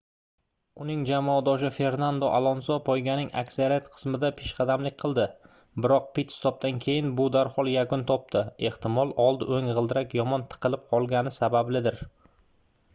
uning jamoadoshi fernando alonso poyganing aksariyat qismida peshqadamlik qildi biroq pit-stopdan keyin bu darhol yakun topdi ehtimol old oʻng gʻildirak yomon tiqilib qolgani sabablidir